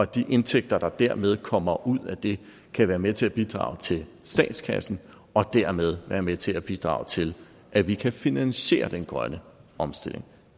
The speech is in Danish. de indtægter der dermed kommer ud af det kan være med til at bidrage til statskassen og dermed være med til at bidrage til at vi kan finansiere den grønne omstilling